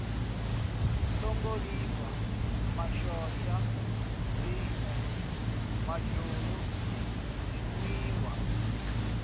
ṱhungulifha mashonzha nzie madzhulu zwinwiwa